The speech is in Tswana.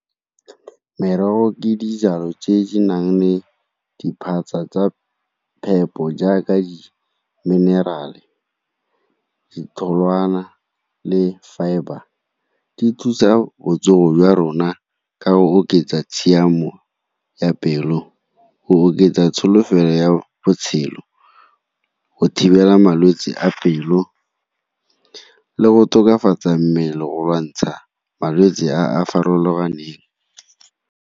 Merogo ke dijalo tse di nang le diphatsa tsa phepo jaaka di-mineral-e, ditholwana le fibre. Di thusa botsogo jwa rona ka go oketsa tshiamo ya pelo, go oketsa tsholofelo ya botshelo, go thibela malwetse a pelo le go tokafatsa mmele go lwantsha malwetse a a farologaneng.